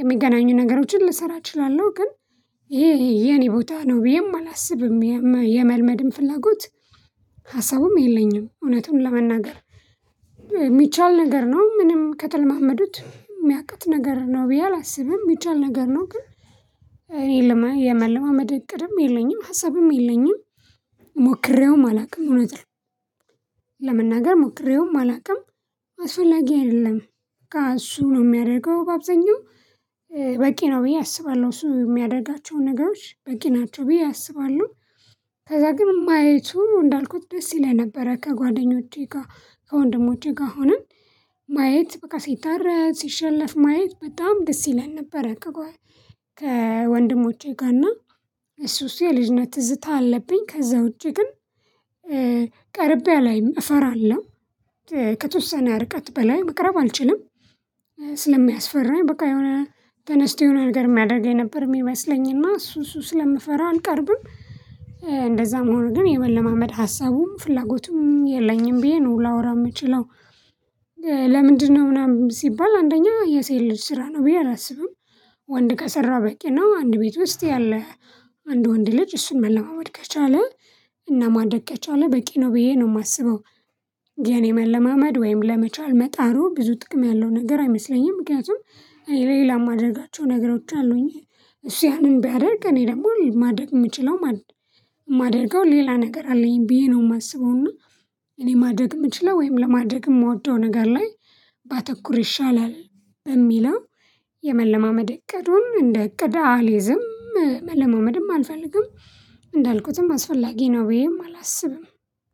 የሚገናኙ ነገሮችን ልሰራ እችላለሁ ግን ይሄ የኔ ቦታ ነው ብዬም አላስብም የመልመድም ፍላጎት ሀሳቡም የለኝም እውነቱን ለመናገር የሚቻል ነገር ነው ምንም ከተለማመዱት የሚያቅት ነገር ነው ብዬ አላስብም የሚቻል ነገር ነው ግን እኔ የመለማመድ እቅድም የለኝም ሀሳብም የለኝም ሞክሬውም አላውቅም እውነት ለመናገር ሞክሬውም አላውቅም አስፈላጊ አይደለም እሱ ነው የሚያደርገው አብዛኛው በቂ ነው ብዬ አስባለሁ እሱ የሚያደርጋቸውን ነገሮች በቂ ናቸው ብዬ አስባለሁ ከዛ ግን ማየቱ እንዳልኩት ደስ ይለኝ ነበረ ከጓደኞቼ ጋር ከወንድሞቼ ጋር ሆነን ማየት በቃ ሲታረድ ሲሸለፍ ማየት በጣም ደስ ይለን ነበረ ከወንድሞቼ ጋር እና እሱ እሱ የልጅነት ትዝታ አለብኝ ከዛ ውጪ ግን ቀርቤ አላይም እፈራለሁ ከተወሰነ ርቀት በላይ መቅረብ አልችልም ስለሚያስፈራኝ በቃ የሆነ ተነስቶ የሆነ ነገር የሚያደርገኝ ነበር የሚመስለኝ እና እሱ እሱ ስለምፈራ አልቀርብም እንደዛም ሆኖ ግን የመለማመድ ሀሳቡም ፍላጎቱም የለኝም ብዬ ነው ላወራ የምችለው ለምንድነው ምናምን ሲባል አንደኛ የሴት ልጅ ስራ ነው ብዬ አላስብም ወንድ ከሰራ በቂ ነው አንድ ቤት ውስጥ ያለ አንድ ወንድ ልጅ እሱን መለማመድ ከቻለ እና ማድረግ ከቻለ በቂ ነው ብዬ ነው የማስበው የኔ መለማመድ ወይም ለመቻል መጣሩ ብዙ ጥቅም ያለው ነገር አይመስለኝም ምክንያቱም ሌላ የማደርጋቸው ነገሮች አሉኝ እሱ ያንን ቢያደርግ እኔ ደግሞ ማድረግ የምችለው ማደግ የማደርገው ሌላ ነገር አለኝ ብዬ ነው የማስበው እና እኔ ማድረግ የምችለው ወይም ለማድረግ የምወደው ነገር ላይ ባተኩር ይሻላል በሚለው የመለማመድ እቅዱን እንደ እቅድ አልይዝም መለማመድም አልፈልግም እንዳልኩትም አስፈላጊ ነው ብዬም አላስብም